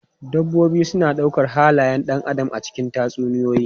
Dabbobi suna ɗaukar halayen ɗan adam a cikin tatsuniyoyi.